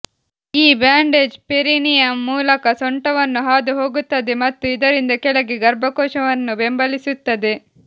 ಈ bandage perineum ಮೂಲಕ ಸೊಂಟವನ್ನು ಹಾದುಹೋಗುತ್ತದೆ ಮತ್ತು ಇದರಿಂದ ಕೆಳಗೆ ಗರ್ಭಕೋಶವನ್ನು ಬೆಂಬಲಿಸುತ್ತದೆ